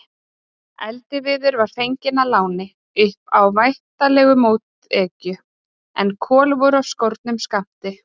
Eldiviður var fenginn að láni, upp á væntanlega mótekju, en kol voru af skornum skammti.